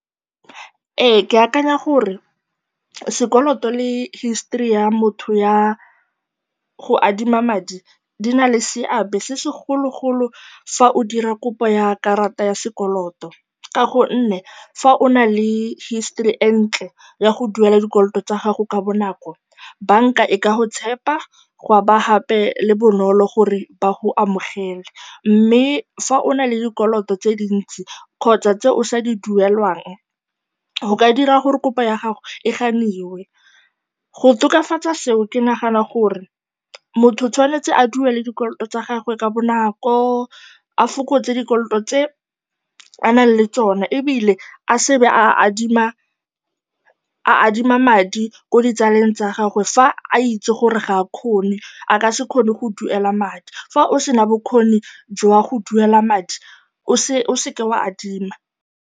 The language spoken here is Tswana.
Ee, ke akanya gore sekoloto le history ya motho ya go adima madi di na le seabe se segologolo fa o dira kopo ya karata ya sekoloto ka gonne fa o na le history e e ntle ya go duela dikoloto tsa gago ka bonako, banka e ka go tshepa, ga nna gape le bonolo gore ba go amogele. Mme fa o na le dikoloto tse dintsi kgotsa tse o sa di duelang, go ka dira gore kopo ya gago e ganiwe. Go tokafatsa seo, ke nagana gore motho o tshwanetse a duele dikoloto tsa gagwe ka bonako, a fokotse dikoloto tse a nang le tsona ebile a se ke a be a adima madi ko ditsaleng tsa gagwe fa a itse gore ga a kgone, a ka se kgone go duela madi. Fa o sena bokgoni jwa go duela madi, o se ka wa adima.